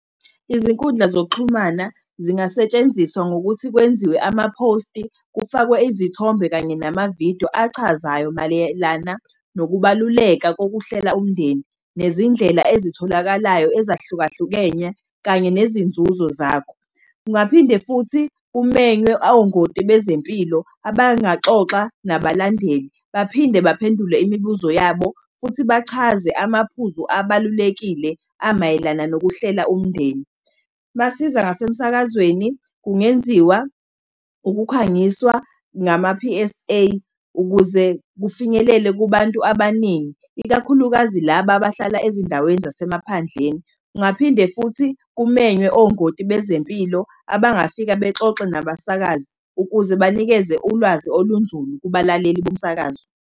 Izinkundla zokuxhumana zingasetshenziswa ngokuthi kwenziwe amaphosti, kufakwe izithombe kanye namavidiyo achazayo mayelana nokubaluleka kokuhlela umndeni, nezindlela ezitholakalayo kanye nezinzuzo zakho. Kungaphinde futhi kumenywe ongoti bezempilo, abangaxoxa nabalandeli, baphinde baphendule imibuzo yabo, futhi bachaze amaphuzu abalulekile amayelana nokuhlela umndeni. Masiza ngasemsakazweni, kungenziwa ukukhangiswa ngama-P_S_A, ukuze kufinyelele kubantu abaningi, ikakhulukazi laba abahlala ezindaweni zasemaphandleni. Kungaphinde futhi kumenywe ongoti bezempilo, abangafika bexoxe nabasakazi, ukuze banikeze ulwazi olunzulu kubalaleli bomsakazo.